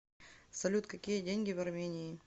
салют какие деньги в армении